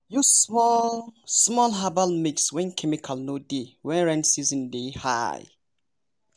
use small-small herbal mix when chemical no dey when rain season dey high.